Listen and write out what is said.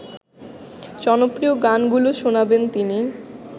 জনপ্রিয় গানগুলো শোনাবেন তিনি